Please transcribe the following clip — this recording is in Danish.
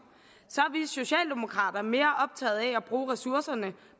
er mere optaget af at bruge ressourcerne